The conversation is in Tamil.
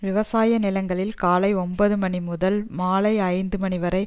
விவசாய நிலங்களில் காலை ஒன்பது மணி முதல் மாலை ஐந்து மணி வரை